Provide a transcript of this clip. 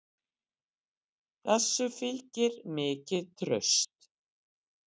Þessu fylgir mikið traust